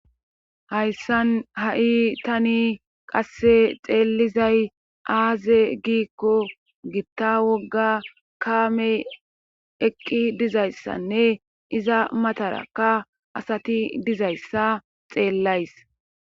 hayssan ha7i tani qasse xeellizay aaze giikko gitta wogga kaamey eqqi dizayssanne iza matarakka asati dizayssa xeellays